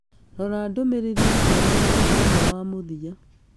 rora ndũmĩrĩri njerũ ya mũthenya wa mũthia